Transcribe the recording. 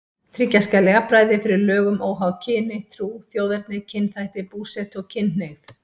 Tryggja skal jafnræði fyrir lögum óháð kyni, trú, þjóðerni, kynþætti, búsetu og kynhneigð.